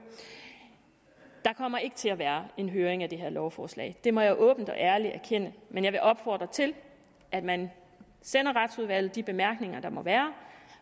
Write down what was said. der kommer ikke til at være en høring af det her lovforslag det må jeg åbent og ærligt erkende men jeg vil opfordre til at man sender retsudvalget de bemærkninger der må være